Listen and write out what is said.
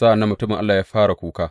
Sa’an nan mutumin Allah ya fara kuka.